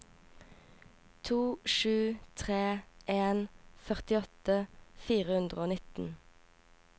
to sju tre en førtiåtte fire hundre og nitten